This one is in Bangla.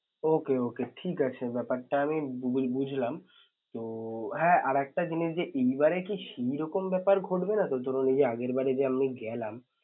Okay okay ঠিক আছে বেপার টা আমি বু~ বুঝলাম তো হ্যাঁ আরেকটা জিনিস যে এইবারে কি সেইরকম বেপার ঘটবে না তো আগেরবারে যে আমরা গেলাম